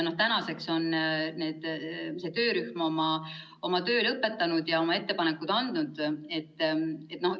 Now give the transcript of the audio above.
Tänaseks on see töörühm oma töö lõpetanud ja oma ettepanekud teinud.